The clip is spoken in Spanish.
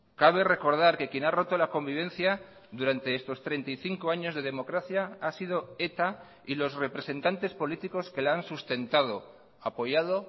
cabe recordar que quien ha roto la convivencia durante estos treinta y cinco años de democracia ha sido eta y los representantes políticos que la han sustentado apoyado